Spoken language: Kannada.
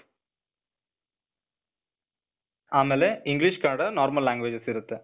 ಆಮೇಲೆ english, ಕನ್ನಡ normal languages ಇರತ್ತೆ.